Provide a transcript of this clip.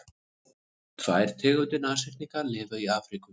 tvær tegundir nashyrninga lifa í afríku